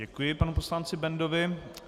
Děkuji panu poslanci Bendovi.